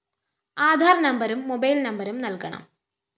ആധാര്‍ നമ്പരും മൊബൈൽ നമ്പരും നല്‍കണം